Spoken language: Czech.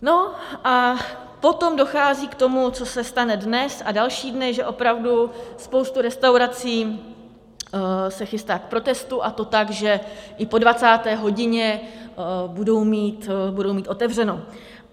No a potom dochází k tomu, co se stane dnes a další dny, že opravdu spousta restaurací se chystá k protestu, a to tak, že i po 20. hodině budou mít otevřeno.